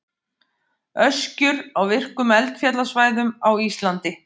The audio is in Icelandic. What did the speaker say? Öskjur á virkum eldfjallasvæðum á Íslandi.